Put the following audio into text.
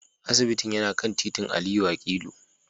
Asibitin yana kan titin Aliyu akilu